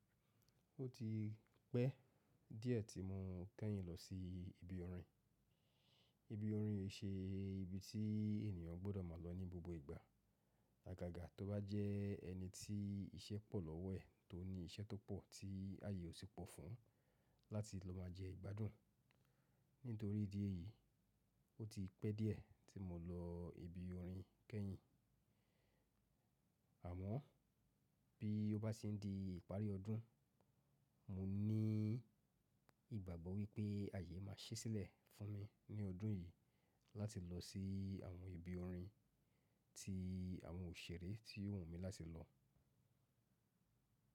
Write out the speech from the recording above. Ó ti pẹ́ díẹ̀ tí mo kẹ́yìn lọ sí ibi orin. Ibi orin ṣe ibi tí ènìyàn gbọ́dọ̀ máa lọ ní gbogbo ìgbà, àgàgà tó bá jẹ́ ẹni tí iṣẹ́ pọ̀ lọ́wọ́ ẹ̀, tó ní iṣẹ́ tó pọ̀ tí ayé ò ti pọ̀ fún un láti lọ máa jẹ ìgbádùn. Nítorí ìdí èyí, ó ti pẹ́ díẹ̀ tí mo lọ ibi orin kẹ́yìn. Àmọ́ bí ó bá sì ń di ìparí ọdún, mo ní ìgbàgbọ́ wípé ayé máa ṣẹ́ sílẹ̀ fún mi ní ọdún yìí láti lọ sí àwọn ibi orin tí àwọn òṣèré ti wù mí láti lọ.